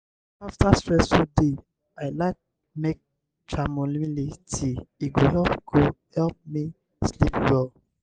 after stressful day i like make chamomile tea e go help go help me sleep well.